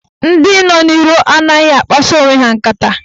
Ndị nọ n'iro anaghị akpasa onwe ha nkata.